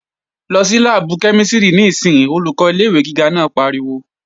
Lọ sí láàbù kẹ́mísìrì níìsín! Olùkọ́ ilé-ìwé gíga náà pariwo